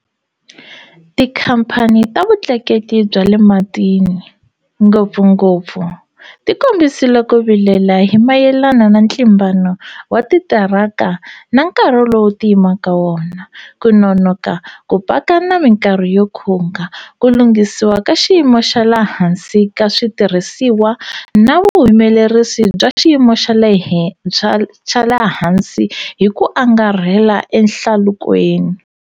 Tikhamphani ta vutleketli bya le matini, ngopfungopfu, ti kombisile ku vilela hi mayelana na ntlimbano wa titiraka na nkarhi lowu ti yimaka wona, ku nonoka ku paka na mikarhi yo khunga, ku lunghisiwa ka xiyimo xa le hansi ka switirhisiwa na vuhumelerisi bya xiyimo xa le hansi hi ku angarhela ehlalukweni.